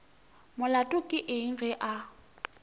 molato ke eng ge a